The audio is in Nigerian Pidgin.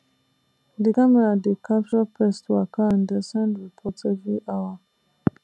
di camera dey capture pest waka and dey send report every hour